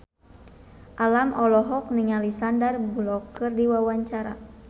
Alam olohok ningali Sandar Bullock keur diwawancara